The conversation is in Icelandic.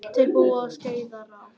Þeir búa til Skeiðará.